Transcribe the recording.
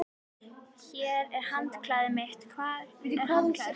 Hér er handklæðið mitt. Hvar er handklæðið þitt?